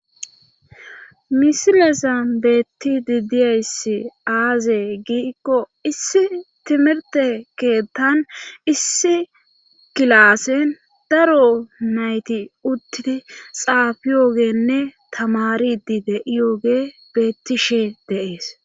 misilezan beetti didiyayssi aaze gi ikko issi timirte keettan issi kilaassen daro nayti uttidi xaafiyoogenne tamaridide7iyooge beettishe deees